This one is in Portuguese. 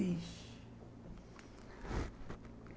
Isso...